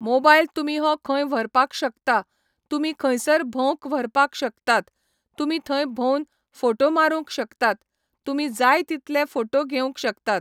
mobile तुमी हो खंय व्हरपाक शकता, तुमी खंयसर भोवंक व्हरपाक शकतात तुमी थंय भोंवन फोटो मारूंक शकतात तुमी जाय तितलें फोटो घेवंक शकतात